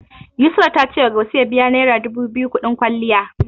Yusra ta cewa Gausu ya biya naira dubu biyu kuɗin kwalliya.